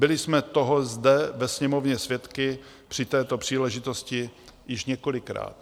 Byli jsme toho zde ve Sněmovně svědky při této příležitosti již několikrát.